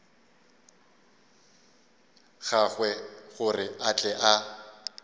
gagwe gore a tle a